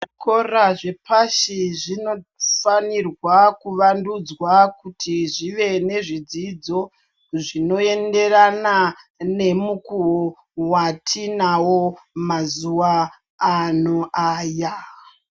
Zvikora zvepashi zvinofanirwa kuvandudzwa kuti zvive nezvidzidzo zvinoenderana nemukuwo watiinawo mazuva ano aya.